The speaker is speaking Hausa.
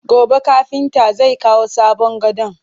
Gobe kafintan zai kawo sabon gadon